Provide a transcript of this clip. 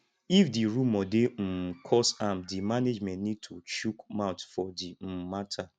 if di rumour dey um cause harm di management need to chook mouth for di um matter